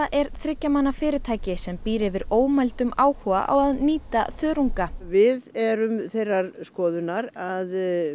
er þriggja manna fyrirtæki sem býr yfir ómældum áhuga á að nýta þörunga við erum þeirrar skoðunar að